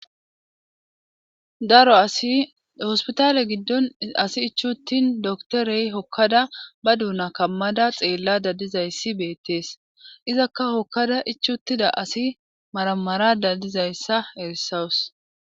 daro asi hospitaale giddon asi ichuttin doktorey hokkada ba duuna kammada xeella dadizayssi beettees izakka hokkada ichuttida asi maramara dadizayssa erssawus